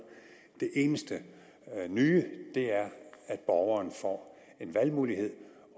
det eneste nye er at borgeren får en valgmulighed